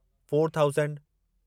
four thousand